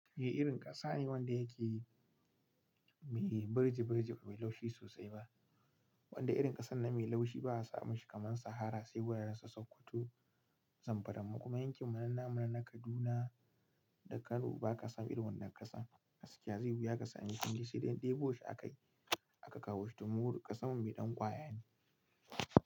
Baiyi irin ƙasa ne wanda yake yi mai birji-birji, bai laushi sosai ba. Wanda irin ƙasan nan mai laushi ba a samu shi kaman Sahara sai wuraren sokoto, Zamfara mu kuma yankinmu na nan na Kaduna da Kano ba ka san irin wannan ƙasan. Gaskiya zai wuya ka sami fili sai dai ɗebo shi a ka yi. Aka kawo shi domin ƙasan mu mai ɗan ƙwaya ne.